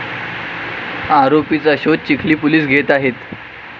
आरोपीचा शोध चिखली पोलीस घेत आहेत.